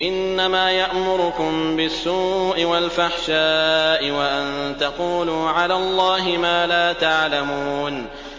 إِنَّمَا يَأْمُرُكُم بِالسُّوءِ وَالْفَحْشَاءِ وَأَن تَقُولُوا عَلَى اللَّهِ مَا لَا تَعْلَمُونَ